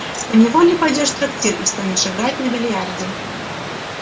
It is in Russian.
поневоле пойдёшь в трактир и станешь играть на биллиарде